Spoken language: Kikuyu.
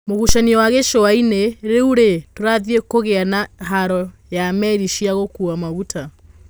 Mũgucanio wa Gĩcuainĩ. Rĩurĩ, tũrathiĩ kũgĩa na haro ya Meri cia gũkua maguta?